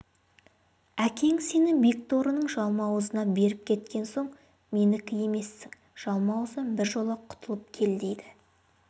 әкең сені бекторының жалмауызына беріп кеткен сен менікі емессің жалмауыздан біржола құтылып кел дейді